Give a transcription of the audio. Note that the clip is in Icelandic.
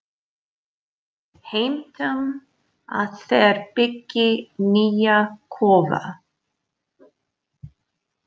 Heimtum að þeir byggi nýja kofa.